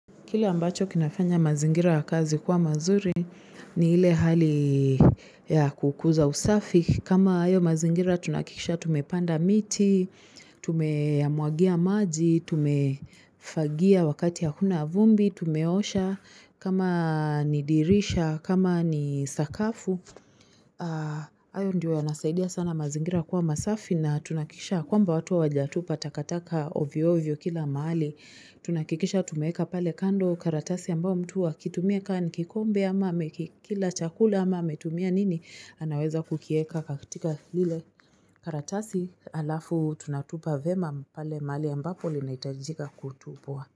Kile ambacho kinafanya mazingira ya kazi kwa mazuri ni ile hali ya kukuza usafi. Kama ayo mazingira tunahakikisha tumepanda miti, tumeyamwagia maji, tumefagia wakati hakuna vumbi, tumeosha, kama ni dirisha, kama ni sakafu. Ayo ndio yanasaidia sana mazingira kuwa masafi na tunahakikisha kwamba watu hawajatupa takataka ovyo ovyo kila mahali Tunahakikisha tumeeka pale kando karatasi ambao mtu akitumia ka ni kikombe ama amekikila chakula ama ametumia nini anaweza kukieka kaktika lile karatasi alafu tunatupa vyema pale mahali ambapo linaitajika kutupwa.